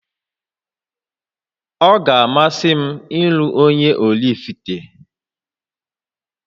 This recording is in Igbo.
Ọ ga-amasị m ịlụ onye Ọraifite